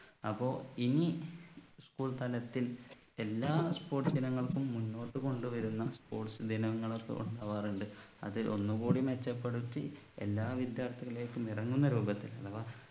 അപ്പൊ ഇനി school തലത്തിൽ എല്ലാ sports ഇനങ്ങൾക്കും മുന്നോട്ടു കൊണ്ടു വരുന്ന sports ദിനങ്ങളൊക്കെ ഉണ്ടാവാറുണ്ട് അത് ഒന്നുകൂടി മെച്ചപ്പെടുത്തി എല്ലാ വിദ്യാർത്ഥികളിലേക്കും ഇറങ്ങുന്ന രൂപത്തിൽ അഥവാ